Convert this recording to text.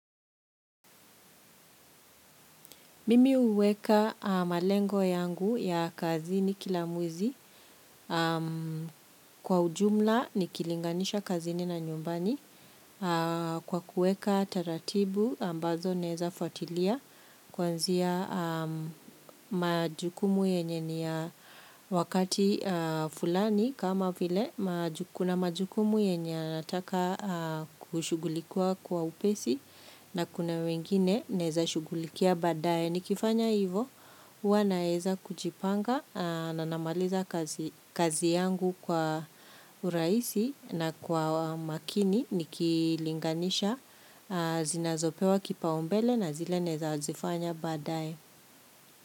Mimi huweka malengo yangu ya kazini kila mwezi kwa ujumla nikilinganisha kazini na nyumbani kwa kuweka taratibu ambazo naeza fuatilia kuanzia majukumu yenye ni ya wakati fulani kama vile, kuna majukumu yenye nataka kushugulikiwa kwa upesi na kuna wengine naeza shugulikia baadaye. Nikifanya hivyo, hua naeza kujipanga na namaliza kazi yangu kwa urahisi na kwa makini nikilinganisha zinazopewa kipaumbele na zile naeza zifanya baadaye.